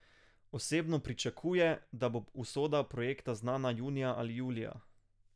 Osebno pričakuje, da bo usoda projekta znana junija ali julija.